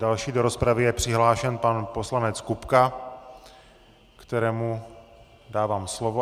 Další do rozpravy je přihlášen pan poslanec Kupka, kterému dávám slovo.